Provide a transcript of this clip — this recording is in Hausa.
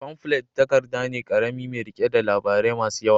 Famflet takarda ne ƙarami mai riƙe da labarai masu yawa.